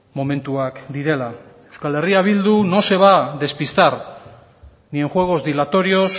momentuak direla euskal herria bildu no se va a despistar ni en juegos dilatorios